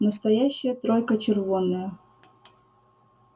настоящая тройка червонная